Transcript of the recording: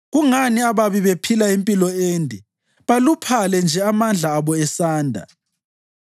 Kungani ababi bephila impilo ende, baluphale nje amandla abo esanda?